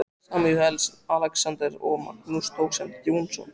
Samúelsson, Alexander og Magnús dósent Jónsson.